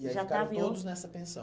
já está. E aí ficaram todos nessa pensão?